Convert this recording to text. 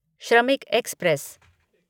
श्रमिक एक्सप्रेस